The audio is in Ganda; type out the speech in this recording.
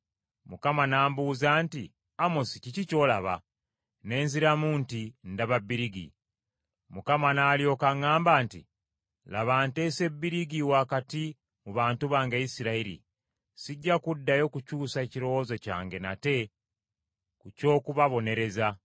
Mukama n’ambuuza nti, “Amosi, kiki ky’olaba?” Ne nziramu nti, “Ndaba bbirigi.” Mukama n’alyoka aŋŋamba nti, “Laba nteese bbirigi wakati mu bantu bange Isirayiri. Sijja kuddayo kukyusa kirowoozo kyange nate ku ky’okubabonereza.